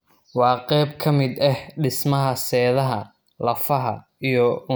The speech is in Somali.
Waa qayb ka mid ah dhismaha seedaha, lafaha, iyo unugyada isku xidha.